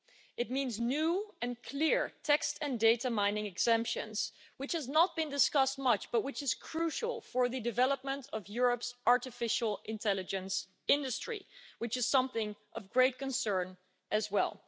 It means new and clear text and data mining exemptions, which has not been discussed much but which is crucial for the development of Europe's artificial intelligence industry, which is something of great concern as well.